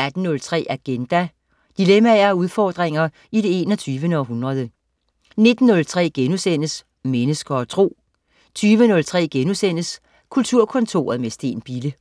18.03 Agenda. Dilemmaer og udfordringer i det 21. århundrede 19.03 Mennesker og Tro* 20.03 Kulturkontoret med Steen Bille*